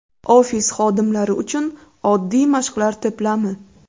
Ofis xodimlari uchun oddiy mashqlar to‘plami.